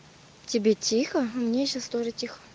тебе тихо мне сейчас тоже тихо